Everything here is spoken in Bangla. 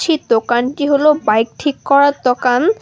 ছি দোকানটি হল বাইক ঠিক করার দোকান।